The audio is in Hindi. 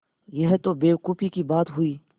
यह तो बेवकूफ़ी की बात हुई